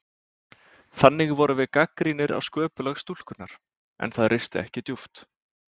Þannig vorum við gagnrýnir á sköpulag stúlkunnar, en það risti ekki djúpt.